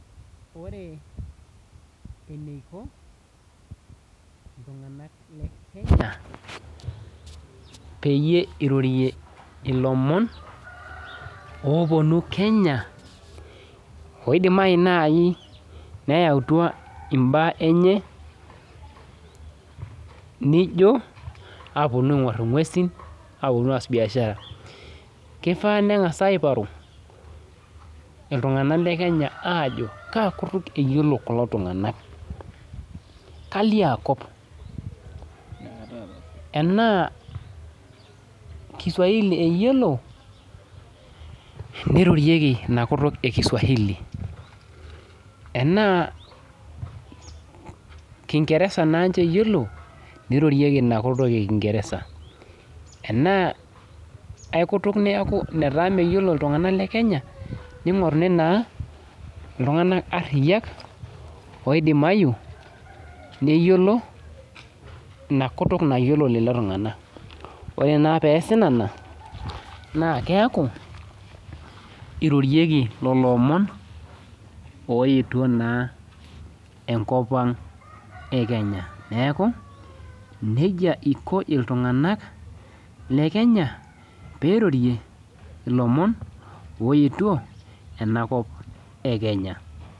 Ore eneiko enasiai ekenya peyie irorie ilomon oponu kenya oidimayu nai neyautua imbaa enye , nijo aponu aingor ingwesin aponu aas biashara. Kifaa nengasi aiparu iltunganak lekenya aajo kaakutuk eyiolo kulo tunganak , kaliaakop , enaa kiswahili eyiolo , neirorieki inakutuk ekiswahili , enaa kingeresa naanche eyiolo , neirorieki inakutuk ekingeresa , enaa aikutuk netaa meyiolo iltunganak lekenya ningoruni naa iltunganak ariak oidimayu neyiolo inakutuk nayiolo lelo tunganak. Ore naa peesi nena naa keaku irorieki lelo omon oetuo naa enkopang ekenya , neeku nejia iko iltunganak lekenya peirorie ilomon oetuo enakop ekenya.